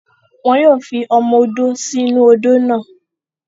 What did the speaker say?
Wọn yóò fi ọmọ odó sí inú-u odó náà